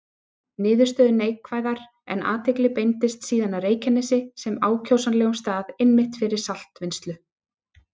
Niðurstöður neikvæðar, en athygli beindist síðan að Reykjanesi sem ákjósanlegum stað einmitt fyrir saltvinnslu.